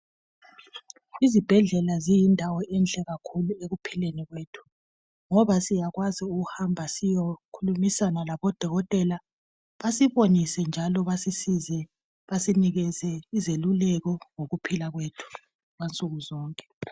Izibhedlela ziyindawo enhle kakhulu ekuphileni kwethu ngoba siyakwazi ukuhamba siyokhulumisana labodokotela basibonise njalo basisize basinikeze izeluleko ngokuphila kwethu kwansukuzonke.